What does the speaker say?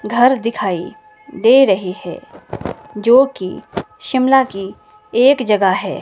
घर दिखाई दे रही है जोकि शिमला की एक जगह है।